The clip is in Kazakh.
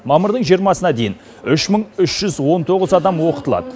мамырдың жиырмасына дейін үш мың үш жүз он тоғыз адам оқытылады